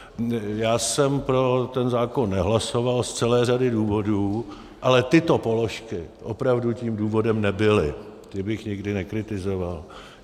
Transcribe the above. Já jsem pro ten zákon nehlasoval z celé řady důvodů, ale tyto položky opravdu tím důvodem nebyly, ty bych nikdy nekritizoval.